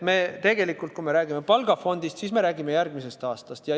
Kui räägime palgafondist, siis me räägime järgmisest aastast.